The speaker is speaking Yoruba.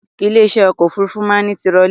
Ilé iṣẹ́ ọkọ̀ òfurufú máa ń ní tirọlí